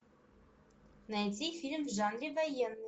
найти фильм в жанре военный